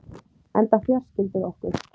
Enda fjarskyldur okkur